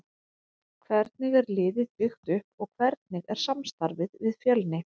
Hvernig er liðið byggt upp og hvernig er samstarfið við Fjölni?